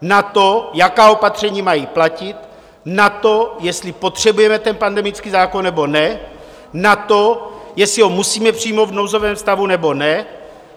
Na to, jaká opatření mají platit, na to, jestli potřebujeme ten pandemický zákon, nebo ne, na to, jestli ho musíme přijmout v nouzovém stavu, nebo ne.